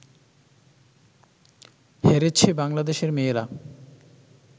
হেরেছে বাংলাদেশের মেয়েরা